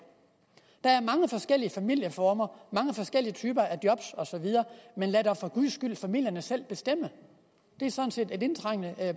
der er mange forskellige familieformer mange forskellige typer af job osv men lad dog for guds skyld familierne selv bestemme det er sådan set et indtrængende